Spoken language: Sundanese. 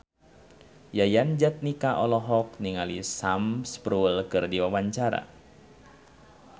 Yayan Jatnika olohok ningali Sam Spruell keur diwawancara